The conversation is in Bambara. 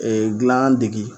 dilan dege